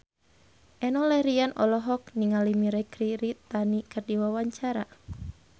Enno Lerian olohok ningali Mirei Kiritani keur diwawancara